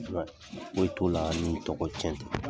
foyi t'o la ni tɔgɔcɛn tɛ.